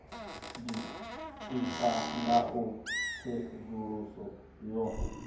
ditika nga u tsedzuluso yo